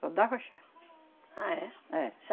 Só dava chá. Ah, é? É,